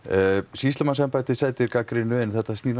sýslumannsembættið sætir gagnrýni en þetta snýr